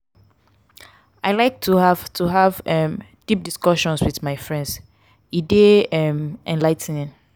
i like to have to have um deep discussions with my friends; e dey um enligh ten ing.